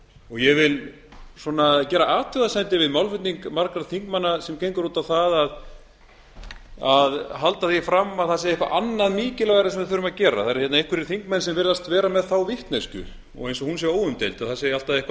ég vil gera athugasemdir við málflutning margra þingmanna sem gengur út á að halda því fram að það sé eitthvað annað mikilvægara sem við þurfum að gera það eru hérna einhverjir þingmenn sem virðast vera með þá vitneskju og eins og hún sé óumdeild að það sé alltaf eitthvað